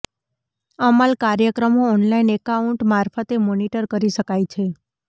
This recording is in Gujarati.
અમલ કાર્યક્રમો ઑનલાઇન એકાઉન્ટ મારફતે મોનીટર કરી શકાય છે